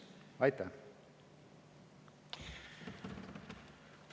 Aitäh!